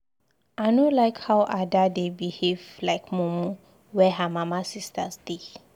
I no like how Ada dey behave like mumu where her mama sisters dey.